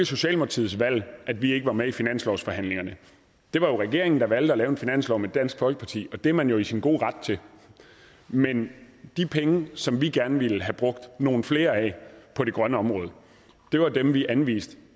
socialdemokratiets valg at vi ikke var med i finanslovsforhandlingerne det var regeringen der valgte at lave en finanslov med dansk folkeparti og det er man jo i sin gode ret til men de penge som vi gerne ville have brugt nogle flere af på det grønne område var dem vi anviste